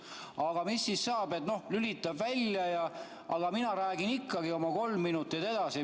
Aga mis siis saab, kui ta lülitab välja, aga mina räägin ikkagi oma kolm minutit edasi?